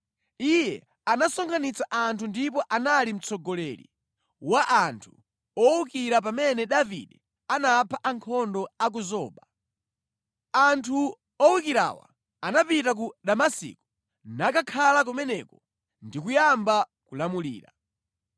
Iye anasonkhanitsa anthu ndipo anali mtsogoleri wa anthu owukira pamene Davide anapha ankhondo a ku Zoba. Anthu owukirawa anapita ku Damasiko, nakakhala kumeneko ndi kuyamba kulamulira.